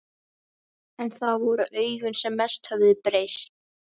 En það voru augun sem mest höfðu breyst.